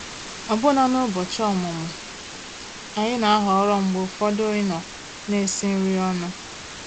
Ọ̀bụ́na n'ụ́bọ̀chị́ ọ̀mụ́mụ́, ànyị́ ná-àhọ̀rọ́ mgbe ụfọ̀dụ̀ ịnọ̀ ná-èsì nrí ọnụ́.